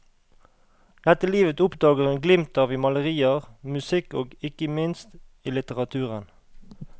Dette livet oppdager hun glimt av i malerier, musikk og, ikke minst, i litteraturen.